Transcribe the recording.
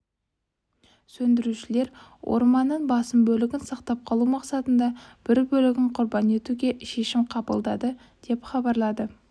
сөндірушілер орманның басым бөлігін сақтап қалу мақсатында бір бөлігін құрбан етуге шешім қабылдады деп хабарлады